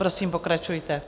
Prosím, pokračujte.